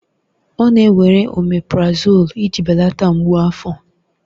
Ọ na-ewere oméprazolú iji belata mgbu afọ